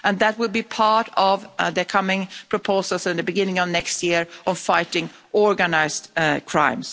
That will be part of the upcoming proposals at the beginning of next year on fighting organised crime.